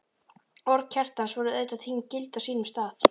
Orð Kjartans voru auðvitað tekin gild á sínum tíma.